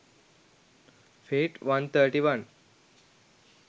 fiat 131